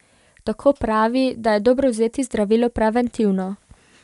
Tako pravi, da je dobro vzeti zdravilo preventivno.